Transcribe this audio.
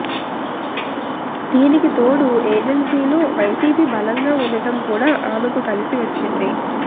దీనికితోడు ఏజెన్సీలో వైసీపీ బలంగా ఉండడం కూడా ఆమెకు కలిసి వచ్చింది